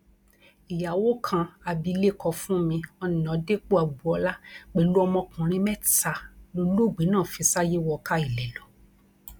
ìyàwó kan abilékọ fúnmi ọnàdẹpọagboola pẹlú ọmọkùnrin mẹta lọlọọgbẹ náà fi ṣàyé wọ káa ilé lọ